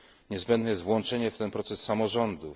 Niezbędne jest włączenie w ten proces samorządów.